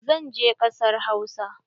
Zan je ƙasar Hausa.